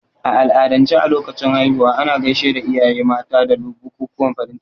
A al'adance a lokacin haihuwa, ana gaishe da iyaye mata da bukukuwan farin ciki.